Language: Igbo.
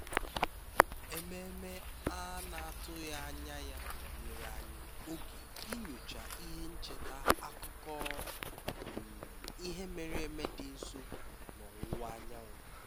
ememe a na-atụghị anya ya nyere anyị oge inyocha ihe ncheta akụkọ um ihe mere eme dị nso n'ọwụwa anyanwụ